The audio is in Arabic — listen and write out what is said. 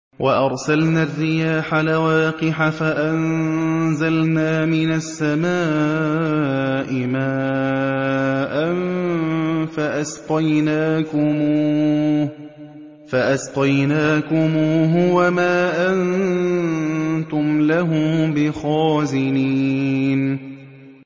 وَأَرْسَلْنَا الرِّيَاحَ لَوَاقِحَ فَأَنزَلْنَا مِنَ السَّمَاءِ مَاءً فَأَسْقَيْنَاكُمُوهُ وَمَا أَنتُمْ لَهُ بِخَازِنِينَ